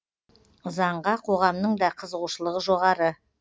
заңға қоғамның да қызығушылығы жоғары